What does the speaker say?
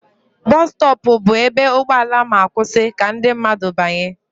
Bọsụ stọọpụ bụ ebe ụgbọala ma-akwụsị ka ndị mmadụ banye.